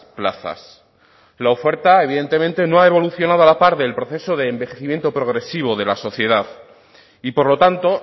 plazas lo oferta evidentemente no ha evolucionado a la par del proceso de envejecimiento progresivo de la sociedad y por lo tanto